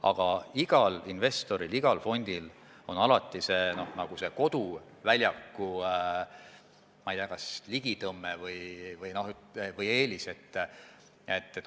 Aga igal investoril, igal fondil on alati koduväljaku, ma ei tea, kas ligitõmme või eelis.